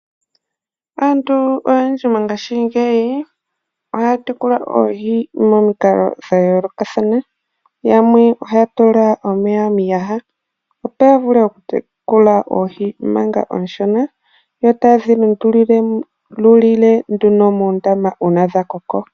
Aantu oyendji mongashingeyi ohaya tekula oohi momikalo dha yoolokathana. Yamwe ohaya tula omeya miiyaha, opo ya vule okutekula oohi manga oonshona yo taye dhi lundululile nduno miiyaha ngele dha koko.